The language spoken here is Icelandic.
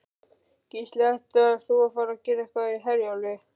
Gísli: Ætlaðir þú að fara eitthvað með Herjólfi?